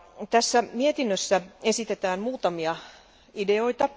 Tässä mietinnössä esitetään muutamia ideoita.